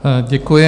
Děkuji.